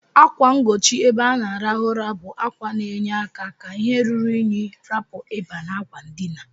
Akwa ngochi ebe ana alarụ ụra bu akwa na enye aka ka ihe ruru inyi rapu iba na akwa ndina.